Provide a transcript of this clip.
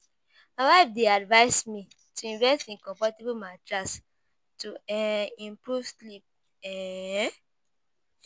My wife dey advise me to invest in comfortable mattress to um improve sleep. um